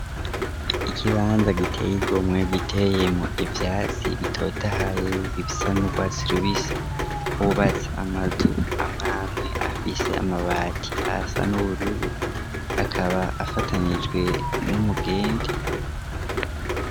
Ikibanza giteye igomwe giteyemwo ivyatsi bitotahaye bisa n'urwatsi rubisi hubatse amazu amwamwe afise amabati asa n'ubururu, akaba afatanijwe n'umugende.